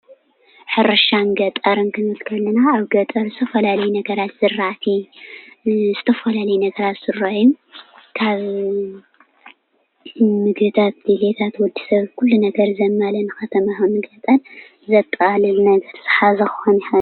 ሕርሻን ገጠርን ክንብል ከለና ኣብ ገጠር ዝተፈላለዩ ነገራት ዝርአቲ ዝተፈላለዩ ነገራት ዝርአዩን ፤ ካብ ምግብታት ድሌታት ወዲሰብ ኩሉ ነገር ዘማልአ ከተማ ይኩን ገጠር ዘጠቃልል ናይ ኩሉ ዝሓዘ ክኾን ይክእል፡፡